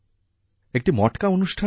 একটি মটকা অনুষ্ঠানও হয়